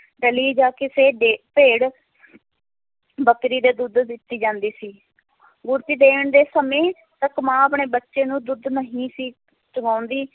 ਡਲੀ ਜਾਂ ਕਿਸੇ ਦੇ ਭੇੜ ਬੱਕਰੀ ਦੇ ਦੁੱਧ ਦਿੱਤੀ ਜਾਂਦੀ ਸੀ ਗੁੜਤੀ ਦੇਣ ਦੇ ਸਮੇਂ ਇੱਕ ਮਾਂ ਆਪਣੇ ਬੱਚੇ ਨੂੰ ਦੁੱਧ ਨਹੀਂ ਸੀ ਚੁਵਾਉਂਦੀ,